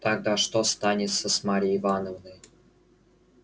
тогда что станется с марьей ивановной